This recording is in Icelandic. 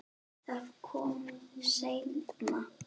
Það kom seinna.